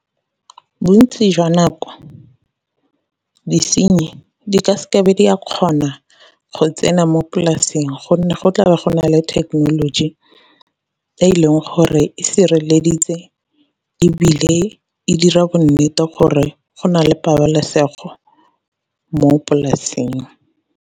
Bontsi jwa nako disenyi di ka seke be di a kgona go tsena mo polasing gonne go tlabo go nale thekenoloji e leng gore e sireleditse, ebile e dira bonnete gore go na le pabalesego mo polasing.